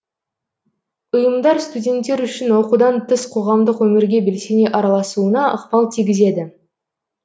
ұйымдар студенттер үшін оқудан тыс қоғамдық өмірге белсене араласуына ықпал тигізеді